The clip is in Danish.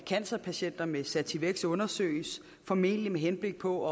cancerpatienter med sativex undersøges formentlig med henblik på